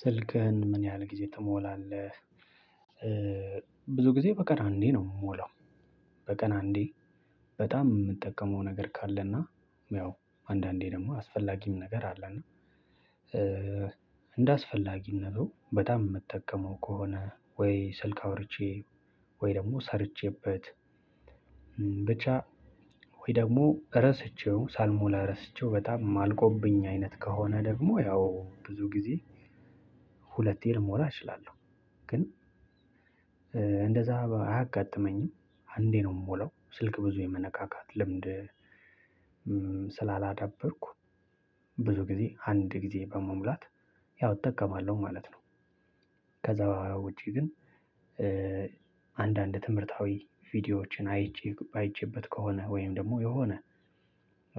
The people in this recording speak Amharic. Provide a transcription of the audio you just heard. ስልክህን ምን ያህል ጊዜ ትሞላለህ? ብዙ ጊዜ በቀን አንዴ ነው የምሞላው። በቀን አንዴ በጣም የምጠቀመው ነገር ካለና ያው አንዳንዴ ደግሞ አስፈላጊም ነገር አለና። እንደ አስፈላጊነቱ በጣም የምትጠቀመው ከሆነ ወይ ስልክ አውርቼ ወይ ደግሞ ሰርቼበት ብቻ ወይ ደግሞ ረስቸው ሳልሞላ ረስቸው በጣም አልቆብኝ አይነት ከሆነ ደግሞ ያው ብዙ ጊዜ ሁለቴን ልሞላ እችላለሁ። ግን እንደዛ አያጋጥመኝም አንዴ ነው የምሞላው። ስልክ ብዙ የመነካካት ልምድ ስላላዳበርኩ ብዙ ጊዜ አንድ ጊዜ በመሙላት ያው እጠቀማለሁ ማለት ነው። ከዛ ውጪ ግን። አንዳንድ ትምህርታዊ ቪዲዮዎችን አይቼ አይቼበት ከሆነ ወይም ደግሞ የሆነ